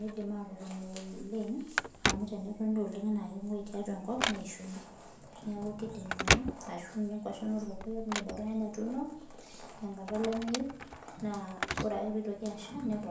midim atotoni oleng amu tenetoni oleng tiatua enkop naa kenguoi ninyiala neeku kidim ninye atotone enaa nkwashen orkokoyok tenkata olamei naa kidim atopoku tenesha